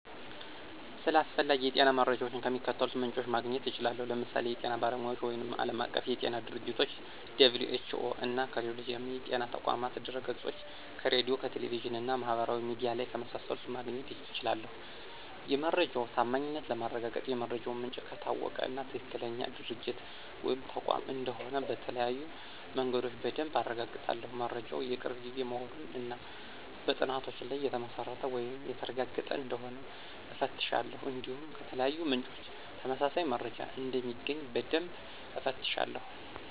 ስለ አስፈላጊ የጤና መረጃዎች ከሚከተሉት ምንጮች ማግኘት እችላለሁ፦ ለምሳሌ ከጤና ባለሙያዎች ወይም ዓለም አቀፍ የጤና ድርጅቶች - (WHO)፣ እና ከሌሎች የጤና ተቋማት ድህረገጾች፣ ከሬዲዮ፣ ከቴሌቪዥን እና ማህበራዊ ሚዲያ ላይ ከመሳሰሉት ማግኘት እችላለሁ። የመረጃው ታማኝነት ለማረጋገጥ የመረጃው ምንጭ ከታወቀ እና ትክክለኛ ድርጅት ወይም ተቋም እንደሆነ በተለያዩ መንገዶች በደንብ አረጋግጣለሁ። መረጃው የቅርብ ጊዜ መሆኑን እና በጥናቶች ላይ የተመሰረተ ወይም የተረጋገጠ እንደሆነ እፈትሻለሁ። እንዲሁም ከተለያዩ ምንጮች ተመሳሳይ መረጃ እንደሚገኝ በደንብ እፈትሻለሁ።